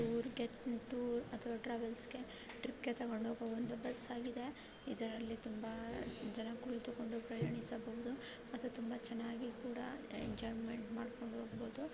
ಇದು ಟೂರ್‌ ಅಥವಾ ಟ್ರಾವೆಲ್ಸ್ ಗೆ ಟ್ರಿಪ್‌ಗೆ ತೆಗೆದುಕೊಂಡು ಹೋಗುವ ಒಂದು ಬಸ್‌ ಆಗಿದೆ ಇದ್ರಲ್ಲಿ ತುಂಬಾ ಜನ ಕುಳಿತುಕೊಂಡು ಪ್ರಯಾಣಿಸಬಹುದು ಅದು ತುಂಬ ಚೆನ್ನಾಗಿ ಕೂಡ ಎಂಜೋಯ್ಮೆಂಟ್ ಮಾಡಿಕೊಂಡು ಹೋಗಬಹುದು.